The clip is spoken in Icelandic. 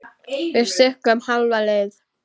Við stukkum hálfa leið.